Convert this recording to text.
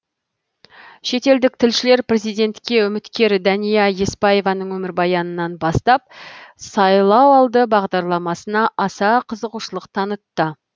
шетелдік тілшілер президентке үміткер дәния еспаеваның өмірбаянынан бастап сайлауалды бағдарламасына аса қызығушылық танытты